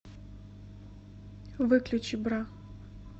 выключи бра